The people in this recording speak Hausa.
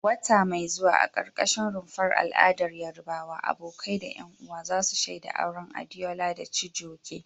Wata mai zuwa, a karkashin rumfar al'adar Yarbawa, abokai da 'yan uwa za su shaida auren Adeola da Chijioke.